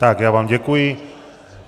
Tak já vám děkuji.